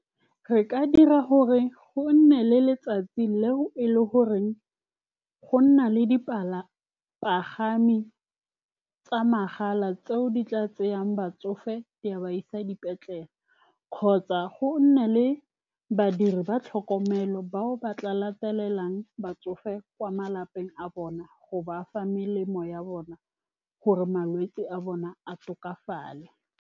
Re ka dira gore go nne le letsatsi, leo e le goreng go nna le dipagami tsa mahala, tseo di tla tsayang batsofe, di ba isa dipetlele, kgotsa go nne le badiri ba tlhokomelo, bao ba tla latelang batsofe kwa malapeng a bona, go ba fa melemo ya bona, gore malwetse a bone a tokafala.